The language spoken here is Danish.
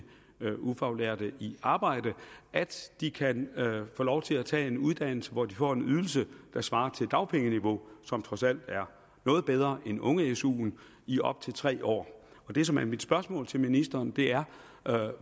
ufaglærte i arbejde at de kan få lov til at tage en uddannelse hvor de får en ydelse der svarer til dagpengeniveau som trods alt er noget bedre end unge su’en i op til tre år det som er mit spørgsmål til ministeren er